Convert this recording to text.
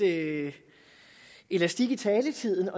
elastik i taletiden